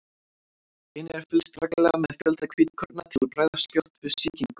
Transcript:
Einnig er fylgst reglulega með fjölda hvítkorna til að bregðast skjótt við sýkingum.